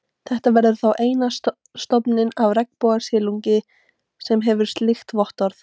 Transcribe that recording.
Þetta verður þá eini stofninn af regnbogasilungi, sem hefur slíkt vottorð.